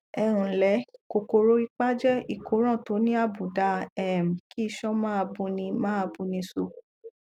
ẹ ǹlẹ kòkòrò ipá jẹ ìkóràn tó ní àbaùdá um kí iṣan máa buni máa buni so